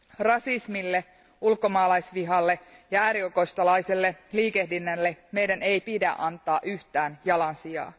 Rasismille, ulkomaalaisvihalle ja äärioikeistolaiselle liikehdinnälle meidän ei pidä antaa yhtään jalansijaa.